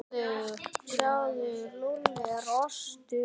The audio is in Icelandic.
Sjáðu, Lúlli er brúnn.